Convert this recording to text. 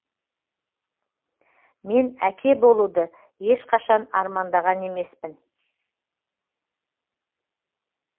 мен әке болуды ешқашан армандаған емеспін